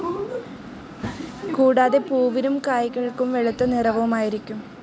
കൂടാതെ പൂവിനും കായകൾക്കും വെളുത്ത നിറവും ആയിരിക്കും.